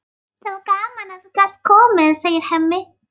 Það var gaman að þú gast komið, segir Hemmi.